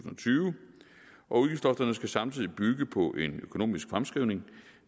tyve og udgiftslofterne skal samtidig bygge på en økonomisk fremskrivning